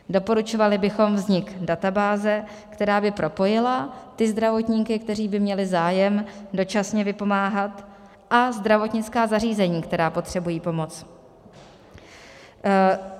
Doporučovali bychom vznik databáze, která by propojila ty zdravotníky, kteří by měli zájem dočasně vypomáhat, a zdravotnická zařízení, která potřebují pomoc.